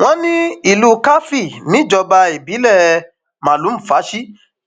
wọn ní ìlú karfi níjọba ìbílẹ malumfashi